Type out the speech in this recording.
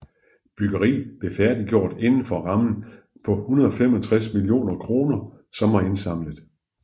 Byggeriet blev færdiggjort inden for rammen på 165 millioner kroner som var indsamlet